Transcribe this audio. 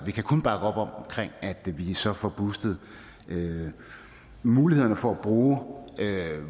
vi kan kun bakke op om at vi så får boosted mulighederne for at bruge